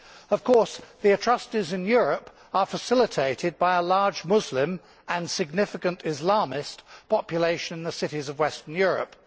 Of course the atrocities in Europe are facilitated by a large Muslim and significant Islamist population in the cities of Western Europe.